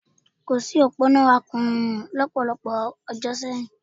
Kò sí òpó iná akùnyùmù lọ́pọ̀lọpọ̀ ọdún sẹ́yìn